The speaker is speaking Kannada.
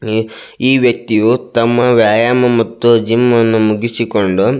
ಈ ವ್ಯಕ್ತಿಯು ತಮ್ಮ ವ್ಯಾಯಾಮ ಮತ್ತು ಜಿಮ್ ಅನ್ನು ಮುಗಿಸಿಕೊಂಡು --